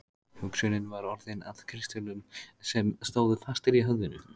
Hugsunin var orðin að kristöllum sem stóðu fastir í höfðinu.